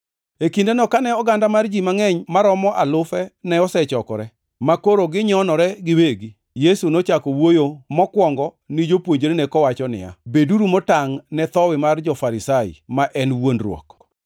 E kindeno, kane oganda mar ji mangʼeny maromo alufe ne osechokore, makoro ginyonore giwegi, Yesu nochako wuoyo mokwongo, ni jopuonjrene kowacho niya, “Beduru motangʼ ne thowi mar jo-Farisai, ma en wuondruok.